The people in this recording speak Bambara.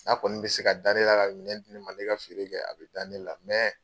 N'a kɔni bɛ se ka da ne la, ka miɛn di ne ma ke ka feere kɛ, a bɛ da ne la, mɛ